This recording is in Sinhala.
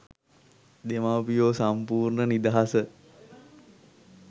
දෙමව්පියෝ සම්පූර්ණ නිදහස.